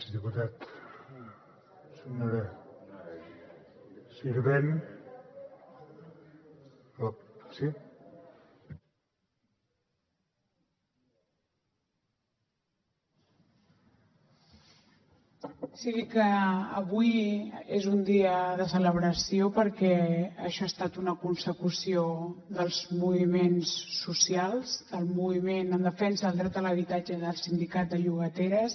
dir que avui és un dia de celebració perquè això ha estat una consecució dels moviments socials del moviment en defensa del dret a l’habitatge del sindicat de llogateres